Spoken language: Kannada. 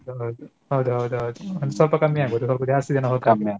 ಹೌದ್ ಹೌದ್ ಹೌದ್ ಒನ್ದಸ್ವಲ್ಪ ಕಮ್ಮಿ ಆಗ್ತದೆ ಸ್ವಲ್ಪ ಜಾಸ್ತಿ ಜನ ಹೋಗ್ತ್ .